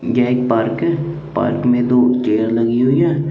यह एक पार्क है पार्क में दो चेयर लगी हुई है।